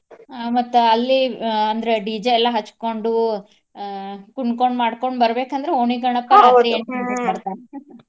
ಆ ಮತ್ತ ಅಲ್ಲಿ ಆ ಅಂದ್ರ DJ ಎಲ್ಲಾ ಹಚ್ಕೊಂಡು ಆ ಕುಣ್ಕೊಂಡ್ ಮಾಡ್ಕೊಂಡ್ ಬರ್ಬೇಕಂದ್ರ ಓಣಿ ಗಣಪಾ ಬರ್ತಾನ .